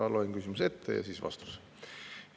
Loen ette küsimuse ja siis vastuse.